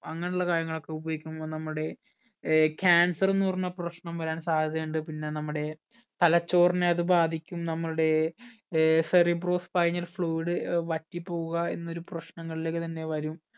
അങ്ങന ഉള്ള കാര്യങ്ങൾ ഒക്കെ ഉപയോഗിക്കുമ്പോൾ നമ്മുടെ ഏർ cancer എന്ന പ്രശ്നം വരാൻ സാധ്യത ഉണ്ട് പിന്ന നമ്മുടെ തലച്ചോറിനെ അത് ബാധിക്കും നമ്മുടെ ഏർ cerebrospinal fluid ഏർ വറ്റിപോകുക എന്നൊരു പ്രശ്നങ്ങളിലേക്ക് തന്നെ വരും